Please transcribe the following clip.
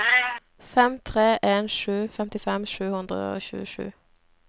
fem tre en sju femtifem sju hundre og tjuesju